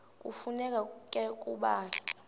kufuneka ke ukuba